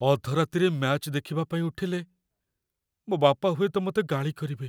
ଅଧରାତିରେ match ଦେଖିବା ପାଇଁ ଉଠିଲେ, ମୋ ବାପା ହୁଏତ ମତେ ଗାଳି କରିବେ ।